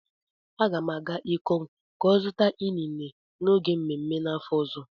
A ga m agaa ikom ka o zuta inine n'oge mmemme n'afo ozo.